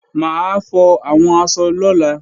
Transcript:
Mà á fọ àwọn aṣọ lọ́la